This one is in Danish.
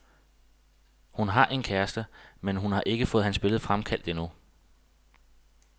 Hun har en kæreste, men hun har ikke fået hans billede fremkaldt endnu.